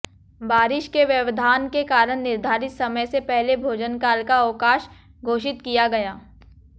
बारिश के व्यवधान के कारण निर्धारित समय से पहले भोजनकाल का अवकाश घोषित किया गया